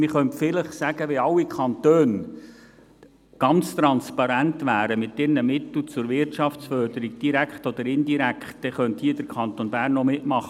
Man könnte vielleicht sagen: Wenn alle Kantone mit ihren Mitteln zur Wirtschaftsförderung, direkt oder indirekt, ganz transparent wären, dann könnte der Kanton Bern hier auch mitmachen.